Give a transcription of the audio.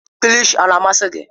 Kilshi ọ na-amasị gị?